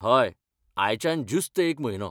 हय, आयच्यान ज्युस्त एक म्हयनो.